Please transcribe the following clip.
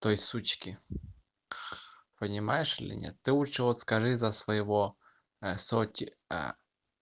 той сучке понимаешь или нет ты лучше скажи за своего соти